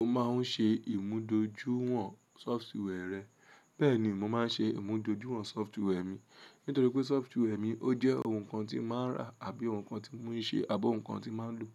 Mo máa ń ṣe ìmùdójúwọ̀n sọfituee rẹ̀. Bẹ́ẹ̀ ni, mo máa ń ṣe ìmúdòjú sọfituee mi nítorí pé sọfituee mi ó jẹ́ ohun kan tí màá rà àbí ohun kan tí mo ń ṣe àbọ́ ohun kan tí màá lò.